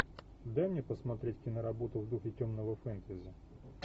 дай мне посмотреть киноработу в духе темного фэнтези